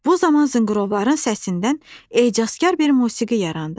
Bu zaman zınqrovların səsindən ecazkar bir musiqi yarandı.